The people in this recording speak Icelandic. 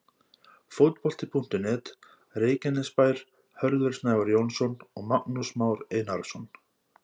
Fótbolti.net, Reykjanesbær- Hörður Snævar Jónsson og Magnús Már Einarsson.